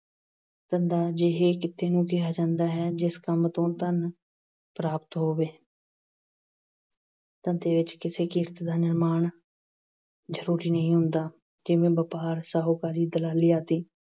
ਧੰਦਾ ਅਜਿਹੇ ਕਿੱਤੇ ਨੂੰ ਕਿਹਾ ਜਾਂਦਾ ਹੈ, ਜਿਸ ਕੰਮ ਤੋਂ ਧਨ ਪ੍ਰਾਪਤ ਹੋਵੇ। ਧੰਦੇ ਵਿੱਚ ਕਿਸੇ ਕਿਸਮ ਦਾ ਨਿਰਮਾਣ ਜ਼ਰੂਰੀ ਨਹੀਂ ਹੁੰਦਾ, ਜਿਵੇਂ ਵਪਾਰ, ਸ਼ਾਹੂਕਾਰੀ, ਦਲਾਲੀ ਆਦਿ।